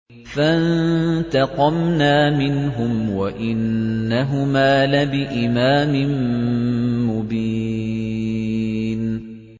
فَانتَقَمْنَا مِنْهُمْ وَإِنَّهُمَا لَبِإِمَامٍ مُّبِينٍ